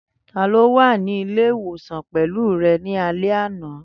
Tani o wa ni ile-iwosan pẹlu rẹ ni alẹ ana?